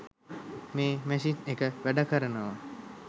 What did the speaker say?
මේ මැෂින් එක වැඩකරනවා.